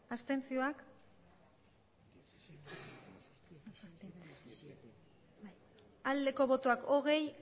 abstentzioa hogei